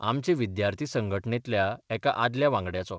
आमचे विद्यार्थी संघटनेंतल्या एका आदल्या वांगड्याचो.